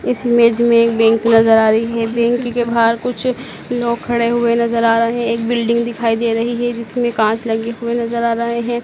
इस इमेज में एक बैंक नजर आ रही है बैंक के बाहर कुछ लोग खड़े हुए नजर आ रहे हैं एक बिल्डिंग दिखाई दे रही है जिसमें कांच लगे हुए नजर आ रहे है।